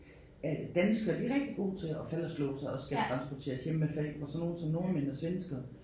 At danskere de er rigtig gode til at falde og slå sig og skal transporteres hjem med Falck hvor sådan nogle som nordmænd og svenskere